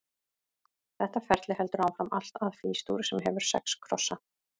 Þetta ferli heldur áfram allt að Fís-dúr, sem hefur sex krossa.